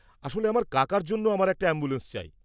আসলে, আমার কাকার জন্য আমার একটা অ্যাম্বুলেন্স চাই।